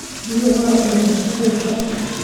Biyo raaci musqusha.